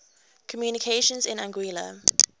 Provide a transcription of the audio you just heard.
communications in anguilla